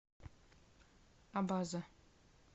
абаза